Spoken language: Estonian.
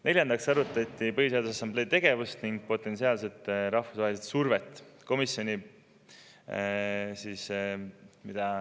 Neljandaks arutati Põhiseaduse Assamblee tegevust ning potentsiaalse rahvusvahelise surve.